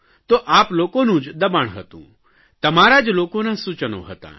તો આપલોકોનું જ દબાણ હતું તમારા જ લોકોના સૂચનો હતાં